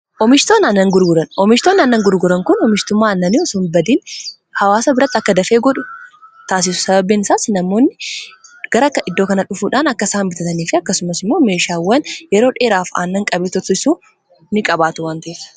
Oomishtoonni aannan gurguran kun oomishtummaa annanii osoo himbadiin hawaasa biratti akka dafee godhu taasisu sababein isaas namoonni garaka iddoo kana dhufuudhaan akka isaa inbitataniif akkasumas immoo meeshaawwan yeroo dheeraaf aannan qabee ni qabaatu wanti.